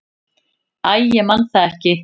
"""Æ, ég man það ekki."""